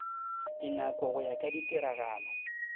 dinako go ya ka ditiragalo